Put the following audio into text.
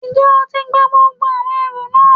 N jẹ́ o ti gba gbogbo àwọn ẹrù náà